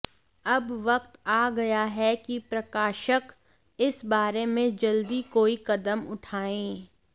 अब वक्त आ गया है कि प्रकाशक इस बारे में जल्दी कोई कदम उठाएं